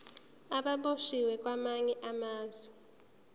ababoshwe kwamanye amazwe